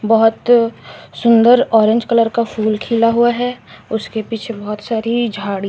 बहोत सुंदर orange colour का फूल खिला हुआ है उसके पीछे बहोत सारी झाड़ी--